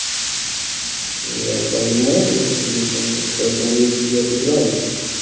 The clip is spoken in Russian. я понимаю нахуй ёбаный в рот поэтому я тебе отыграл нахуй